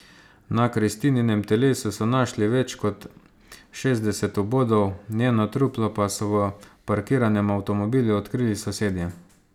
Na Kristininem telesu so našli več kot šestdeset vbodov, njeno truplo pa so v parkiranem avtomobilu odkrili sosedje.